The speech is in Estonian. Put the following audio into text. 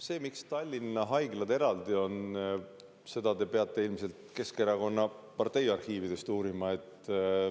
Seda, miks Tallinna haiglad eraldi on, te peate ilmselt Keskerakonna partei arhiividest uurima.